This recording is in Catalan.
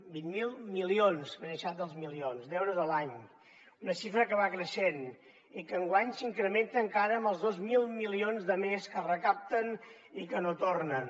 vint miler milions m’he deixat els milions d’euros a l’any una xifra que va creixent i que enguany s’incrementa encara amb els dos mil milions de més que es recapten i que no tornen